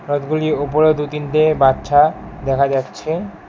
রথগুলি ওপরেও দু-তিনটে বাচ্চা দেখা যাচ্ছে।